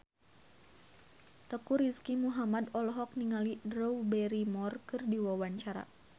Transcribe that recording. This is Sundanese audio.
Teuku Rizky Muhammad olohok ningali Drew Barrymore keur diwawancara